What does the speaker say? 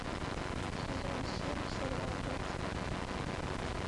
сезон семь сериал декстер